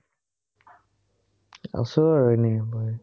আছো আৰু এনেই বহি।